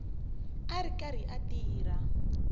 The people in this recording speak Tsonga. a ri karhi a tirha